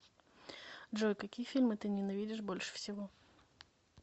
джой какие фильмы ты ненавидишь больше всего